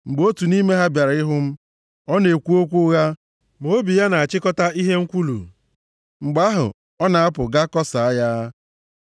Mgbe otu nʼime ha bịara ịhụ m, ọ na-ekwu okwu ụgha, ma obi ya na-achịkọta ihe nkwulu; mgbe ahụ ọ na-apụ, ga kọsaa ya.